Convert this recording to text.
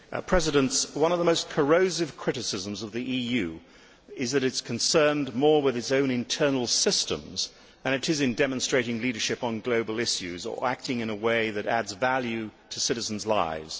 Mr President, one of the most corrosive criticisms of the EU is that it is more concerned with its own internal systems than in demonstrating leadership on global issues or acting in a way that adds value to citizens' lives.